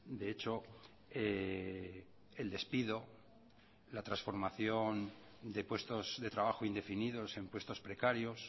de hecho el despido la transformación de puestos de trabajo indefinidos en puestos precarios